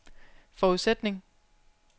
forudsætning